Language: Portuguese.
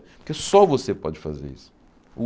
Porque só você pode fazer isso. O